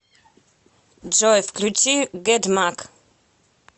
джой включи гэдмак